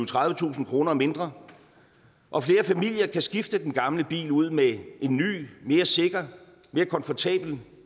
tredivetusind kroner mindre og flere familier kan skifte den gamle bil ud med en ny mere sikker mere komfortabel